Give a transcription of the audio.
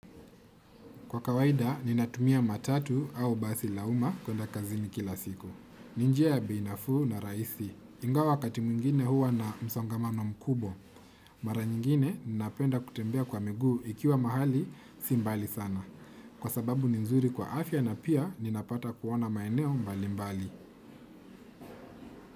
Kwa kawaida, ninatumia matatu au basi la uma kwenda kazini kila siku. Ni njia ya bei nafuu na raisi. Ingawa wakati mwingine huwa na msongamano mkubwa. Mara nyingine, ninapenda kutembea kwa miguu ikiwa mahali si mbali sana. Kwa sababu ni nzuri kwa afya na pia ninapata kuona maeneo mbali mbali.